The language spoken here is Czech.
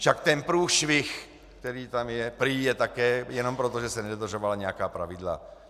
Však ten průšvih, který tam je, prý je také jenom proto, že se nedodržovala nějaká pravidla.